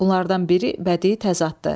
Bunlardan biri bədii təzaddır.